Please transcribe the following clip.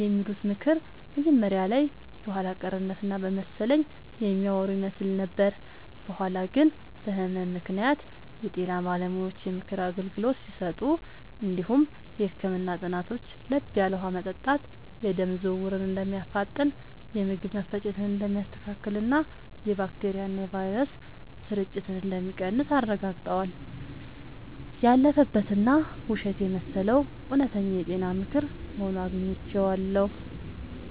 የሚሉት ምክር መጀመሪያ ላይ የኋላ ቀርነት እና በመሰለኝ የሚያወሩ ይመስል ነበር። በኋላ ግን በህመም ምክንያት የጤና ባለሙያዎች የምክር አገልግሎት ሲሰጡ እንዲሁም የህክምና ጥናቶች ለብ ያለ ውሃ መጠጣት የደም ዝውውርን እንደሚያፋጥን፣ የምግብ መፈጨትን እንደሚያስተካክልና የባክቴሪያና ቫይረስ ስርጭትን እንደሚቀንስ አረጋግጠዋል። ያለፈበት እና ውሸት የመሰለው እውነተኛ የጤና ምክር ሆኖ አግኝቼዋለሁ።